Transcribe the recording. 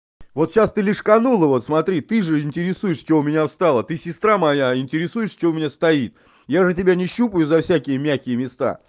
вот сейчас ты не угадала ну вот смотри ты же интересуюсь что у меня встало ты сестра моя интересуешься что у меня стоит я же тебя не трогаю за всякие мягкие места